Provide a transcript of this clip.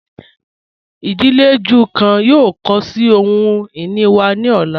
Idílé Júù kan yóò kọ sí ohun-ini wa ni ọ̀la.